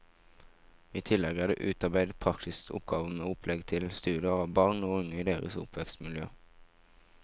I tillegg er det utarbeidet praktiske oppgaver med opplegg til studier av barn og unge og deres oppvekstmiljø.